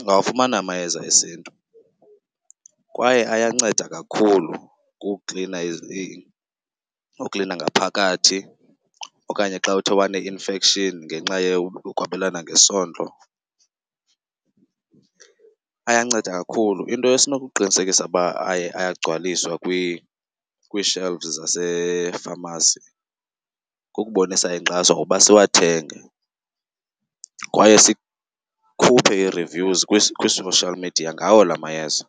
ungawafumani amayeza esiNtu kwaye ayanceda kakhulu ukuklina , uklina ngaphakathi okanye xa uthe wane-infection ngenxa yokwabelana ngesondo, ayanceda kakhulu. Into esinokuqinisekisa uba ayagcwaliswa kwii-shelves zasefamasi kukubonisa inkxaso ngokuba siwathenge kwaye sikhuphe ii-reviews kwi-social media ngawo la mayeza.